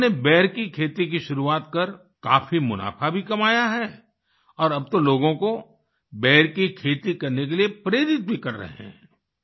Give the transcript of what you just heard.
उन्होंने बेर की खेती की शुरुआत कर काफ़ी मुनाफ़ा भी कमाया है और अब वो लोगों को बेर की खेती करने के लिए प्रेरित भी कर रहे है